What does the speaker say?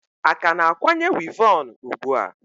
A ka na-akwanye wivon ugbua?